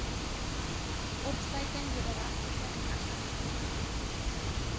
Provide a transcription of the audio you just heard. opsluiting wederregtelike inhegtenisneming